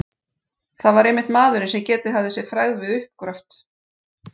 Það var einmitt maðurinn, sem getið hafði sér frægð við uppgröft